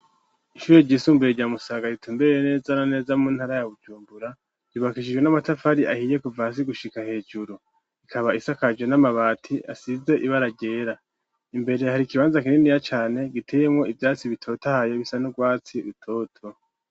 Ishure ryisumbuye, rya Musaga, ritumbereye neza na neza, mu ntara ya Bujumbura, ryubakishijwe n'amatafari ahiye, kuva hasi gushika hejuru; ikaba isakaje n'amabati, asize ibara ryera; imbere, hari ikibanza, kininiya cane, giteyemwo ivyatsi, bitotahaye, bisa n'urwatsi rutoto.